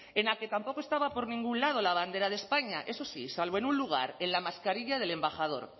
en la que tampoco estaba por ningún lado la bandera de españa eso sí salvo en un lugar en la mascarilla del embajador